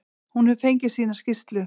Hún hefur fengið sína skýrslu.